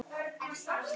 Þú að mála.